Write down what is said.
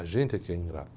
A gente é que é ingrato.